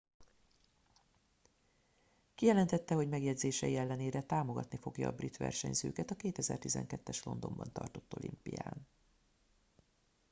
kijelentette hogy megjegyzései ellenére támogatni fogja a brit versenyzőket a 2012 es londonban tartott olimpián